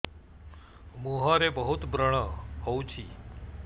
ମୁଁହରେ ବହୁତ ବ୍ରଣ ହଉଛି